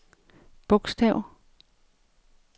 bogstav